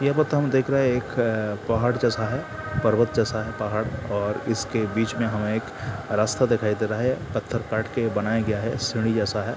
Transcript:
यहाँ पे तो हम देख देख रहे हैं कि एक अ-अ-अ-अ पहाड़ जैसा है पर्वत जैसा है पहाड़ और इसके बीच मे हमे एक रास्ता दिखाई दे रहा है पत्थर काट के बनाया गया है सीढ़ी जैसा है।